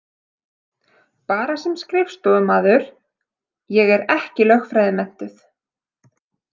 Bara sem skrifstofumaður, ég er ekki lögfræðimenntuð.